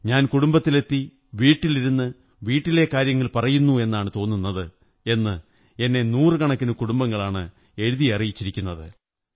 ഞാൻ കുടുംബത്തിലെത്തി വീട്ടിലിരുന്നു വീട്ടിലെ കാര്യങ്ങൾ പറയുന്നു എന്നാണ് തോന്നുന്നത് എന്ന് എന്നെ നൂറുകണക്കിന് കുടുംബങ്ങളാണ് എഴുതി അറിയിച്ചിരിക്കുന്നത്